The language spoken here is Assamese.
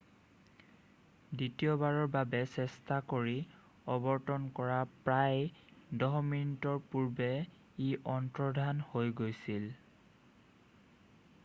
দ্বিতীয়বাৰৰ বাবে চেষ্টা কৰি অৱতৰন কৰাৰ প্ৰায় 10 মিনিটৰ পূৰ্বে ই অন্তৰ্ধান হৈ গৈছিল